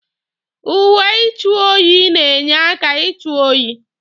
Uwe ịchụ oyi na-enye aka ịchụ oyi.